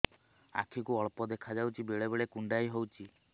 ଆଖି କୁ ଅଳ୍ପ ଦେଖା ଯାଉଛି ବେଳେ ବେଳେ କୁଣ୍ଡାଇ ହଉଛି